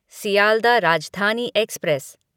Sealdah Rajdhani express